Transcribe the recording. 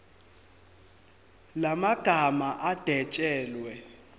la magama adwetshelwe